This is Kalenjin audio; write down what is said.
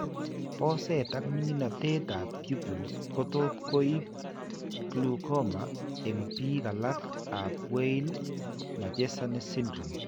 Boseet ak minginatet ab pupils kotot koinb glaucoma eng' biik alak ab Weill Marchesani syndrome